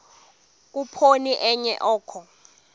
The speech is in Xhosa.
khuphoni enye oko